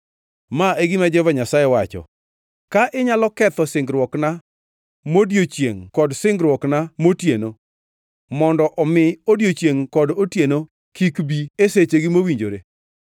“Ma e gima Jehova Nyasaye wacho: ‘Ka inyalo ketho singruokna modiechiengʼ kod singruokna motieno, mondo omi odiechiengʼ kod otieno kik bi e sechegi mowinjore,